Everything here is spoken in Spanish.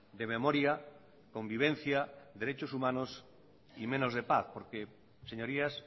de memoria convivencia derechos humanos y menos de paz porque señorías